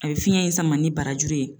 A bi fiɲɛ in sama ni barajuru ye